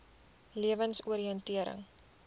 lewensoriëntering